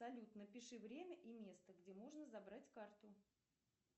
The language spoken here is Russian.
салют напиши время и место где можно забрать карту